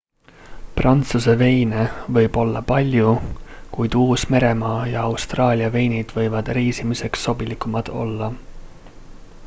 prantsuse veine võib olla palju kuid uus-meremaa ja austraalia veinid võivad reisimiseks sobilikumad olla